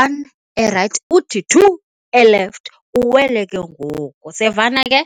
one erayithi, two elefti uwele ke ngoku. Siyavana ke?